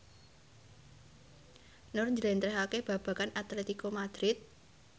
Nur njlentrehake babagan Atletico Madrid